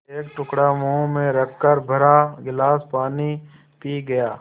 एक टुकड़ा मुँह में रखकर भरा गिलास पानी पी गया